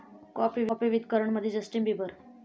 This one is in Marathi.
काॅफी विथ करण'मध्ये जस्टिन बिबर